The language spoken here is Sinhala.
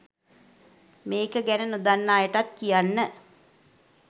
මේක ගැන නොදන්න අයටත් කියන්න.